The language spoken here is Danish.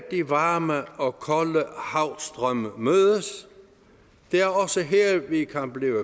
de varme og kolde havstrømme mødes det er også her vi kan blive